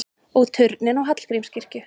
Og turninn á Hallgrímskirkju!